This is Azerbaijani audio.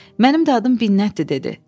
Mənim də adım Minnətdir dedi.